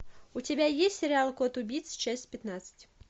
у тебя есть сериал кот убийца часть пятнадцать